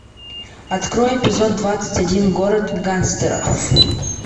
открой эпизод двадцать один город гангстеров